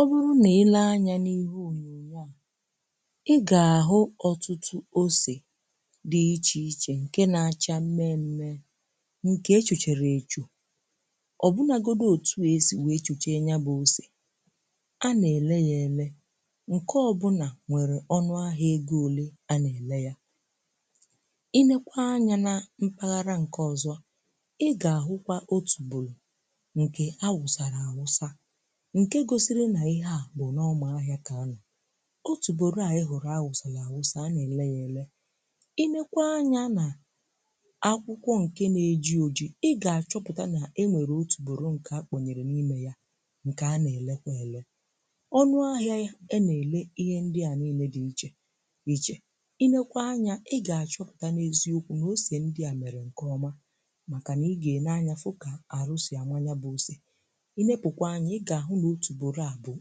Ọ bụrụ na ile anya n’ihe ònyonyo à, ị ga-ahụ ọ̀tụtụ ose dị iche iche nke na-acha mmemme nke echuchere echu. Ọ bụnagodu otu esi wee chuche yabụ ose a na-ele ya ele, nke ọbụna nwere ọnụ ahịa ego ole a na-ele ya. I neekwa anya na mpaghara nke ọzọ, ị ga-ahụkwa otùbòro ǹkè awụsàlà awụsà, nke gosiri nà ihe à bụ n’ọma ahịa kà ano. Otùbòro à ị hụrụ awụsàlà awụsà, a nà-ele ya ele. I neekwa anya nà akwụkwọ ǹkè nà-eji ojì, ị gà-achọpụta nà e nwèrè otùbòrò ǹkè a kpọnyèrè n’ime ya ǹkè a nà-ele kwà èle, ọnụ ahịa a nà-ele ihe ndị à niile dị iche iche. I neekwa anya, ị gà-achọpụta n’eziokwu na ose ndị à mèrè ǹkè ọma màkà nà ị gà-ene anya fụ kà àrụ sì ànwa yabụ ose, ị neepụkwa anya, ị ga ahụ n'otùbòro à bụ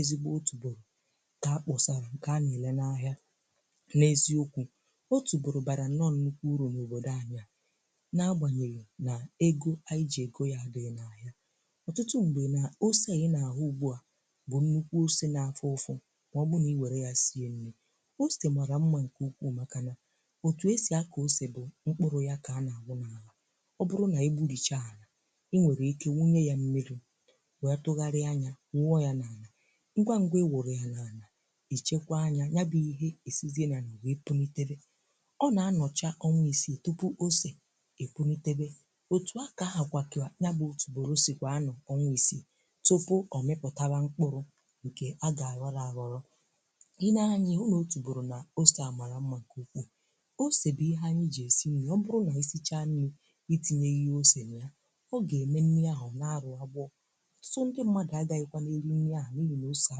ezigbo otùbòro kà akpọsarà ǹkè a na-ele n’ahịa. N’eziokwu, otùbòro barà nọọ nnukwu uru n’òbodò anyị a, n’agbanyeghì nà egọ anyị ji egọ ya adịghị n’ahịa. Ọ̀tụtụ m̀gbè na ose ị n’ahụ ugbu à bụ nnukwu ose n'afụfụ mà ọ bụ na ị were ya sie nri. Ose màrà mma ǹkè ukwùù màkà nà, otù esì akọ ose bụ mkpụrụ ya kà na-awụ n’alà. Ọ bụrụ na egburìcha alà, ị nwèrè ike wunye ya mmiri wee tụghari a ya, wuọ ya n'ana, ngwa ngwa ị wuru ya n’anà ichekwà anya, nyabụ ihe esizie n’anà wee pụlitebe; ọ na-anọchà ọnwa isi tupu ose epụlitebe, otù a ka ha kwà kà yabụ otùbòro si kwà anọ ọnwa isi tupu ọ mịpụtakwa mkpụrụ ǹkè a ga ghọrọ aghọrọ. I nee anyị, ihu na otùbòro nà ose à màrà mma nke ukwuù. Ose bụ ihe anyị ji esi nri. Ọ bụrụ nà isichaa nri itinyeghì ya ose na ya, oge eme nri ahụ ọ na-arụ agbọọ. Ọ̀tụtụ ndị mmadu agaghikwanu eri nri ahụ n'inyị ose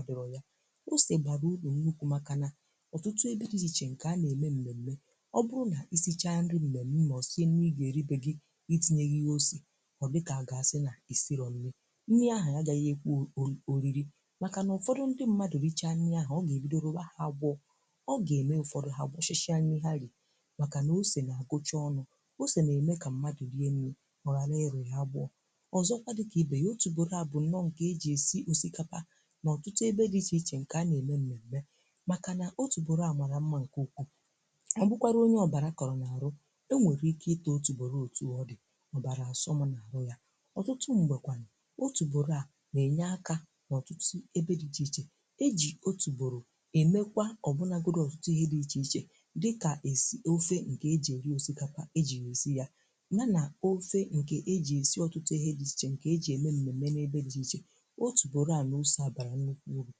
adịro ya. Ose bara ụrụ nnukwu maka na ọtụtụ ebe dị iche iche nke a na-eme mmeme, ọ bụrụ na ịsichaa nri mmemme ma ọ sie nri ị ga-eri be gị ma itinyeghì ya ose, ọ dị ka agasi n'ịsiro nni. Nni ahụ agaghi ekwe o o oriri, maka na ụfọdụ ndị mmadu richa nni ahụ, ọ ga-ebido rụba ya agboo, ọ gà-eme ụfọdụ ha gboshishi a nni ha ri maka ose n'agucha onụ. Ose na-eme ka mmadu rie nni oghara irụ ya agboo. Ozokwa dị ka ibe ya, otùbòro a bụ nọọ nke eji esi osikapa n'ọtụtụ ebe dị iche iche nke a na-eme mmemme maka na otùbòro a mara mma nke ukwuu. Ọ bụkwara onye ọbara kọrọ n’arụ, ọ nwere ike ita otùbòro otu ọdị, ọbara asọmụ n’arụ ya. Ọ̀tụtụ m̀gbekwanụ otùbòro a na-enye aka n’ọ̀tụtụ ebe dị iche iche. E ji otùbòro emekwa ọbụnagodụ ọ̀tụtụ ihe dị iche iche dịka, esi ofe nke eji eri osikapa; eji ya esi ya ha na ofe nke eji esi ọ̀tụtụ ihe dị iche iche nke eji eme mmeme n’ebe dị iche. Otùbòro à na Ose a bara nnekwu ụrụ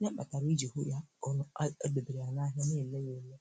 ya kpatara iji hụ ya kọ na ọ emebere a n’ahịa na-ele ya ele.